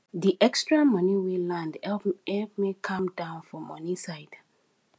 di extra money wey land help me calm down for money side